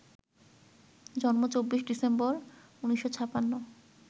জন্ম ২৪ ডিসেম্বর ১৯৫৬